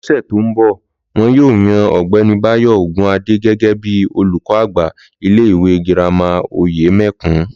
Lọ́sè̩ tó ń bò̩, wo̩n yóò yan Ò̩gbé̩ni Báyò̩ Ògunádé gé̩gé̩ bí olùkó̩ àgbà ilé ìwé girama Òyème̩kùn